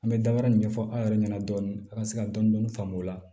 An bɛ dabara ɲɛfɔ aw yɛrɛ ɲɛna dɔɔni an ka se ka dɔn dɔndɔni faamu o la